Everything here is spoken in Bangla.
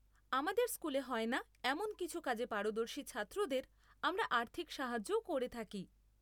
আমাদের স্কুলে হয় না এমন কিছু কাজে পারদর্শী ছাত্রদের আমরা আর্থিক সাহায্যও করে থাকি।